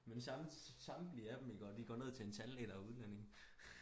Men samtlige af dem de går ned til en tandlæge der er udlænding